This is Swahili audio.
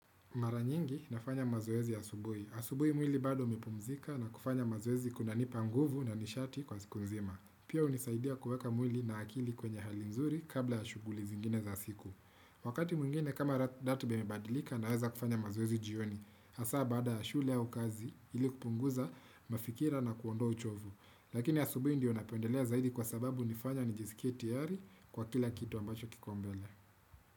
Mara nyingi nafanya mazoezi asubuhi. Asubuhi mwili bado umepumzika na kufanya mazoezi kuna nipanguvu na nishati kwa zikunzima. Pia hunisaidia kuweka mwili na akili kwenye hali mzuri kabla ya shughuli zingine za siku. Wakati mwingine kama ratibaimebadilika na weza kufanya mazoezi jioni. Hasa baada ya shule au kazi ili kupunguza mafikira na kuondoa uchovu. Lakini asubuhi ndio napendelea zaidi kwa sababu hunifanya nijisikie tiari kwa kila kitu ambacho kiko mbele.